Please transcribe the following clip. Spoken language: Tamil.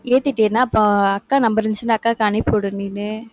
ஏத்திட்டேன்னா, அப்ப அக்கா number இருந்துச்சுன்னா அக்காவுக்கு அனுப்பி விடு நீனு.